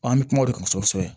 An bɛ kuma o de kan kosɛbɛ